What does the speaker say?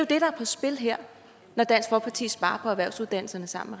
det der er på spil her når dansk folkeparti sparer på erhvervsuddannelserne sammen